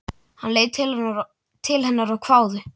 Hann leit til hennar og hváði.